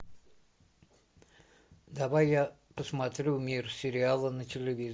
давай я посмотрю мир сериала на телевизоре